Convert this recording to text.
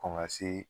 Kɔn ka se